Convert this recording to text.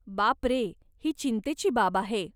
बापरे, ही चिंतेची बाब आहे.